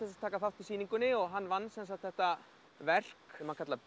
taka þátt í sýningunni og hann vann þetta verk sem hann kallar